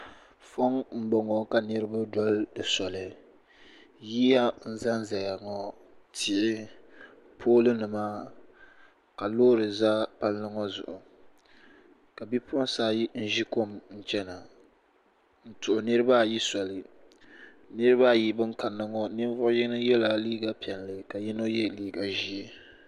Foŋ m boŋɔ ka niriba doli di soli yiya tihi pooli nima ka loori za palli zuɣu ka bipuɣinsi ayi ʒi kom n chena n tuhi niriba ayi soli nirina ayi ban kanna ŋɔ bɛ ninvuɣu yino ye la liiga piɛlli la yino ye liiga ʒee.